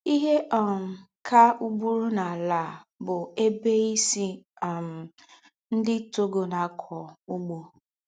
“ Íhe um kà ùgbùrù n’àlà à bụ́ ébè bụ́ ísì um ńdị́ Togona-ákọ́ úgbó. ”